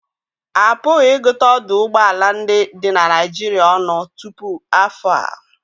A pụghị ịgụta ọdụ ụgbọ ala ndị dị na Naịjirịa ọnụ tupu afọ a